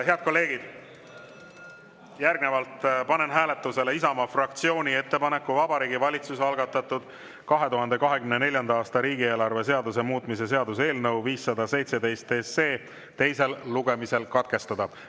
Head kolleegid, panen hääletusele Isamaa fraktsiooni ettepaneku Vabariigi Valitsuse algatatud 2024. aasta riigieelarve seaduse muutmise seaduse eelnõu 517 teine lugemine katkestada.